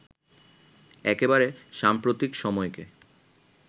একেবারে সাম্প্রতিক সময়কে